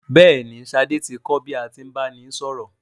Bẹ́ẹ̀ ni, Ṣadé ti kọ́ bí a tí ń báni sọ̀rọ̀.